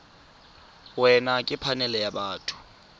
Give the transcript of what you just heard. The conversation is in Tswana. wena ke phanele ya batho